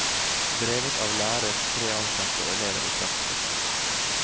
Drevet av lærer, tre ansatte og elever i praksis.